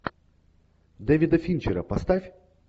дэвида финчера поставь